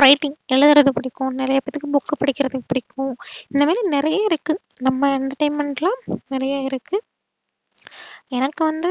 writing எழுதுறது புடிக்கும் நறையபேத்துக்கு book படிக்கிறது புடிக்கும். இந்த மாறி நறைய இருக்கு நம்ம entertainment லா நறைய இருக்கு. எனக்கு வந்து